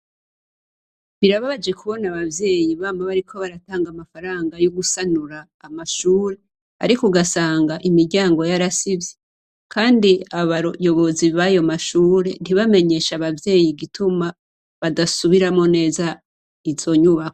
Birababaje kubona abavyeyi bama bariko baratanga amafaranga yo gusanura amashuri, ariko ugasanga imiryango yarasivye, kandi abayobozi bayo mashuri, ntibamenyeshe abavyeyi igituma badasubiramwo neza izo nyubako.